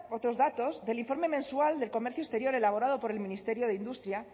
otros datos del informe mensual de comercio exterior elaborado por el ministerio de industria